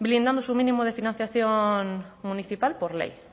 blindando su mínimo de financiación municipal por ley